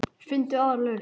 Finndu aðra lausn.